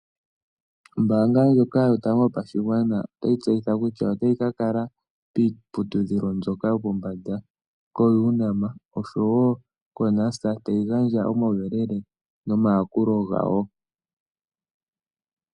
Ombaanga ndjoka yotango yopashigwana otayi tseyitha kutya otayi ka ka kala kiiputudhilo yopombanda, koUNAM oshowo koNUST tayi ganga omauyelele nomayakulo gawo.